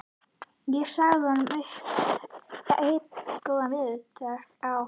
Ég sagði honum upp einn góðan veðurdag á